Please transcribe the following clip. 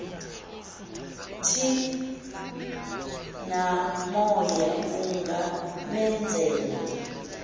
thi namoya ungamenzela